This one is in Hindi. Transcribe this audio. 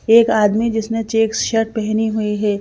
एक आदमी जिसने चेक्स शर्ट पहनी हुई है।